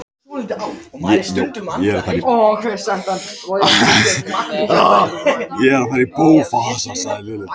Ég er að fara í bófahasar sagði Lilla.